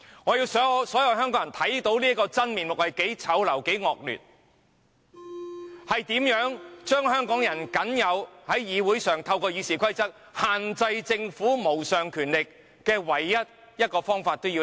我要讓所有人看到這個真面目多麼醜陋、多麼惡劣，如何將香港人在議會上透過《議事規則》限制政府無上權力的這個唯一方法剝奪。